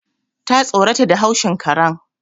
Ta tsorata da haushin karen